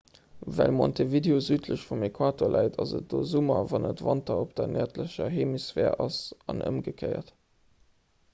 well montevideo südlech vum äquator läit ass et do summer wann et wanter op der nërdlecher hemisphär ass an ëmgekéiert